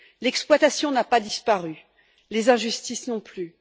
L'exploitation n'a pas disparu, les injustices non plus.